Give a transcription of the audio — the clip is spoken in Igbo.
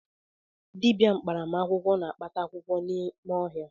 Dịbịa mkparamakwụkwọ na-akpata akwụkwọ n’ime ọhịa